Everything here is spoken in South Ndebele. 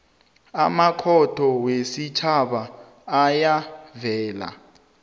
amakhotho wesitjhaba ayavela